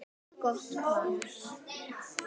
Gott par.